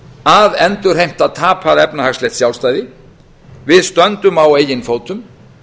að endurheimta tapað efnahagslegt sjálfstæði við stöndum á eigin fótum